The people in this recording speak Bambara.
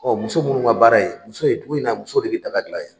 Ɔ muso munnu ka baara ye muso ye dugu in na muso de be dagala yan